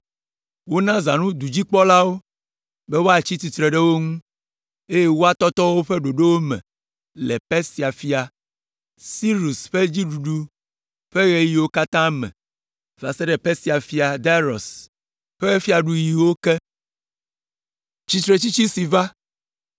Wona zãnu dudzikpɔlawo be woatsi tsitre ɖe wo ŋu, eye woatɔtɔ woƒe ɖoɖowo me le Persia fia, Sirus ƒe fiaɖuɖu ƒe ɣeyiɣiwo katã me va se ɖe Persia fia Darius ƒe fiaɖuɣiwo ke.